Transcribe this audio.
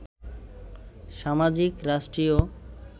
সামাজিক, রাষ্ট্রীয়